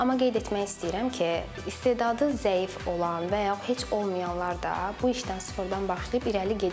Amma qeyd etmək istəyirəm ki, istedadı zəif olan və yaxud heç olmayanlar da bu işdən sıfırdan başlayıb irəli gediblər.